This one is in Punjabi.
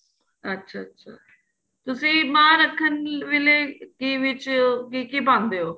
ਅੱਛਾ ਅੱਛਾ ਤੁਸੀਂ ਮਾਂ ਮੱਖ਼ਣੀ ਵੇਲੇ ਕਿ ਵਿੱਚ ਕੀ ਕੀ ਪਾਉਦੇ ਹੋ